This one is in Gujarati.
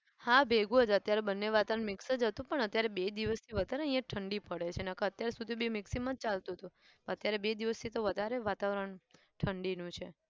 હા ભેગું જ અત્યારે બંને વાતાવરણ mix જ હતું પણ અત્યારે બે દિવસથી વધારે અહીંયા ઠંડી પડે છે નહિ તો અત્યારે સુશી તો બે mixing ચાલતું હતું અત્યારે બે દિવસથી તો વધારે વાતાવરણ ઠંડીનું છે.